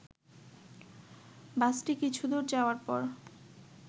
বাসটি কিছুদূর যাওয়ার পর